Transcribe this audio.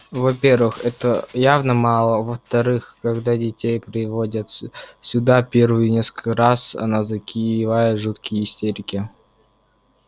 во-первых этого явно мало а во-вторых когда детей приводят сюда первые несколько раз они закатывают жуткие истерики